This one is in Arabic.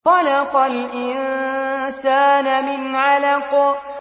خَلَقَ الْإِنسَانَ مِنْ عَلَقٍ